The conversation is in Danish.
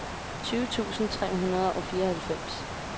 tyve tusind tre hundrede og fireoghalvfems